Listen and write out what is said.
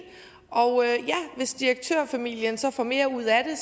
og ja hvis direktørfamilien så får mere ud af det